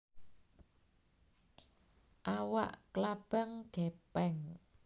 Awak klabang gèpèng